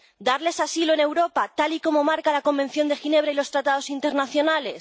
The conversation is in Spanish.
¿Darles asilo en Europa, tal y como marca la Convención de Ginebra y los Tratados internacionales?